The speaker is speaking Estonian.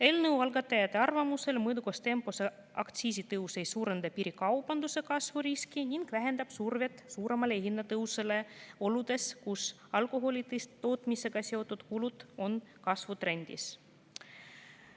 Eelnõu algatajate arvamusel ei suurenda mõõdukas tempos aktsiisitõus piirikaubanduse kasvu riski ning vähendab survet suuremale hinnatõusule oludes, kus alkoholi tootmisega seotud kulud on kasvutrendis.